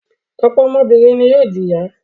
Ọ̀pọ̀ ọmọbìnrin ni yóò di ìyá.